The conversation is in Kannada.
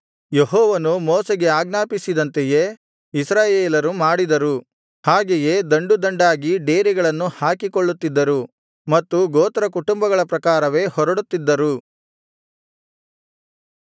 ಯೆಹೋವನು ಮೋಶೆಗೆ ಆಜ್ಞಾಪಿಸಿದಂತೆಯೇ ಇಸ್ರಾಯೇಲರು ಮಾಡಿದರು ಹಾಗೆಯೇ ದಂಡು ದಂಡಾಗಿ ಡೇರೆಗಳನ್ನು ಹಾಕಿಕೊಳ್ಳುತ್ತಿದ್ದರು ಮತ್ತು ಗೋತ್ರಕುಟುಂಬಗಳ ಪ್ರಕಾರವೇ ಹೊರಡುತ್ತಿದ್ದರು